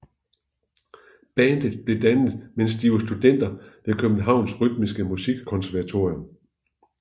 Bandet blev dannet mens de var studenter ved Københavns Rytmisk Musikkonservatorium